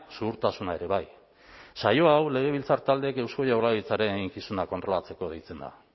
zuhurtasuna ere bai saio hau legebiltzar taldeek eusko jaurlaritzaren eginkizuna kontrolatzeko deitzen da